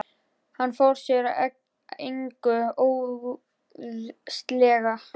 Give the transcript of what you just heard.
Hann fór sér að engu óðslega.